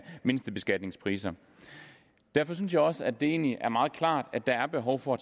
mindstebeskatningspriser derfor synes jeg også at det egentlig er meget klart at der er behov for at